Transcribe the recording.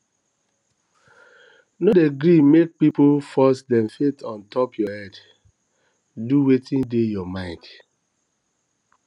no dey gree make pipu force dem faith on top your head do wetin dey your mind